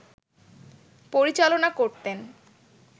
পরিচালনা করতেন